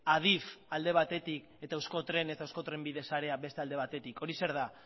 adif alde batetik eta euskotren eusko trenbide sarea beste alde batetik hori zer da